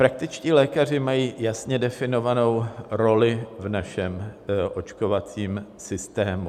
Praktičtí lékaři mají jasně definovanou roli v našem očkovacím systému.